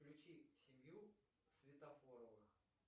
включи семью светофоровых